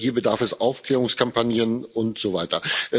Hier bedarf es Aufklärungskampagnen und so weiter.